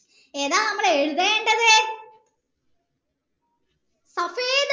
ഏതാണ് നമ്മൾ എഴുതേണ്ടത്